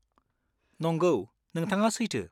नंगौ, नोंथाङा सैथो।